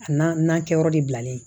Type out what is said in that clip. A n'a n'a kɛyɔrɔ de bilalen